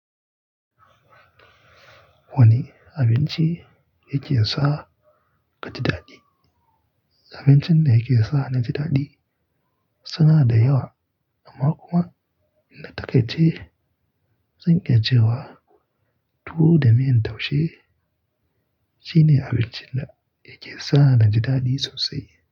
Wane abinci yake sa ka ji daɗi? Abincin da yake sa na ji daɗi suna da yawa amma kuma na takaice zan iya cewa tuwo da miyan taushe shine abincin da yake sa ni ji daɗi sosai.